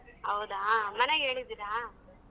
ಹೌದಾ ಮನ್ಯಾಗ್ ಹೇಳಿದಿರಾ?